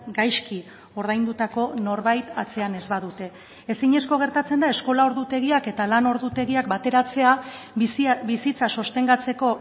gaizki ordaindutako norbait atzean ez badute ezinezko gertatzen da eskola ordutegiak eta lan ordutegiak bateratzea bizitza sostengatzeko